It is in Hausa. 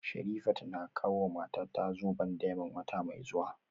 Sherifat na kawowa matata zoben diamond wata mai zuwa